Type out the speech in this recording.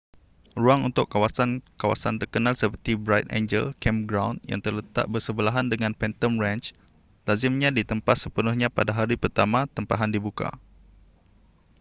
ruang untuk kawasan-kawasan terkenal seperti bright angel campground yang terletak bersebelahan dengan phantom ranch lazimnya ditempah sepenuhnya pada hari pertama tempahan dibuka